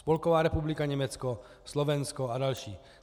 Spolková republika Německo, Slovensko a další.